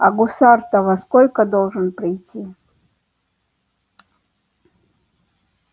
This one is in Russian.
а гусар-то во сколько должен прийти